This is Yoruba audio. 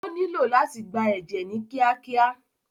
Ó nílo láti gba ẹ̀jẹ̀ ni kíákíá.